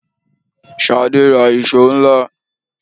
Ṣadé ra ìṣó ńlá.